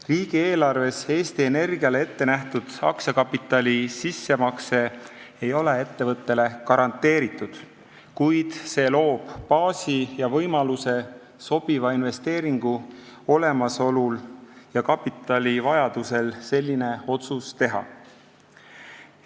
Riigieelarves Eesti Energiale ettenähtud aktsiakapitali sissemakse ei ole ettevõttele garanteeritud, kuid see loob baasi ja võimaluse sobiva investeeringu olemasolu ja kapitalivajaduse korral selline otsus teha.